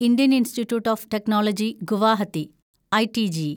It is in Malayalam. Indian Institute of Technology Guwahati (ഐടിജി)